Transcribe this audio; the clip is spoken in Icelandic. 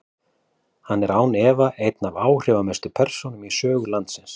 Hann er því án efa ein af áhrifamestu persónum í sögu landsins.